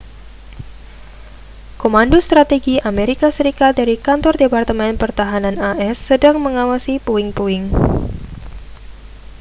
komando strategi amerika serikat dari kantor departemen pertahanan as sedang mengawasi puing-puing